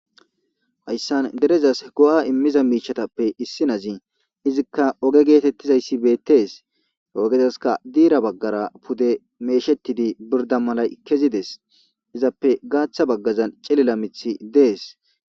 hayssan derezas go7a immiza miishatappe issi nazi izikka oge geetettizayssi beettees ogezaska diira baggara pude meeshettidi birda malay kezides izappe gaaththa baggazan celila mithi dees